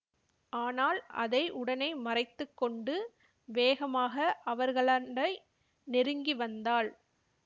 ஆனால் அதை உடனே மறைத்து கொண்டு வேகமாக அவர்களண்டை நெருங்கி வந்தாள்